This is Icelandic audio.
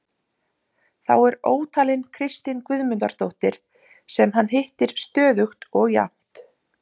Þá er ótalin Kristín Guðmundardóttir sem hann hittir stöðugt og jafnt.